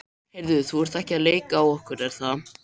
Heyrðu, þú ert ekki að leika á okkur, er það?